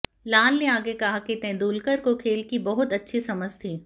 लाल ने आगे कहा कि तेंदुलकर को खेल की बहुत अच्छी समझ थी